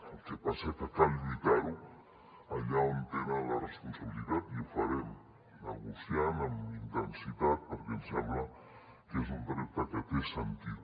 el que passa és que cal lluitar ho allà on tenen la responsabilitat i ho farem negociant amb intensitat perquè ens sembla que és un repte que té sentit